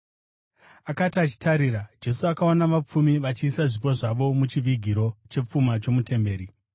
Akati achitarira, Jesu akaona vapfumi vachiisa zvipo zvavo muchivigiro chepfuma chomutemberi.